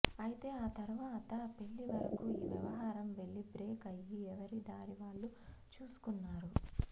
అయితే ఆ తరవాత పెళ్లి వరకు ఈ వ్యవహారం వెళ్లి బ్రేక్ అయ్యి ఎవరిదారి వాళ్ళు చూసుకున్నారు